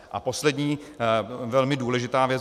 A poslední, velmi důležitá věc.